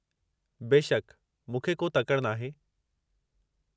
बेशकि, मूंखे को तकड़ि नाहे।